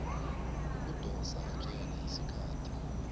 ukudosa ejele isikhathi